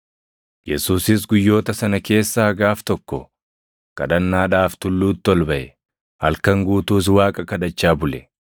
Yesuusis guyyoota sana keessaa gaaf tokko kadhannaadhaaf tulluutti ol baʼe; halkan guutuus Waaqa kadhachaa bule.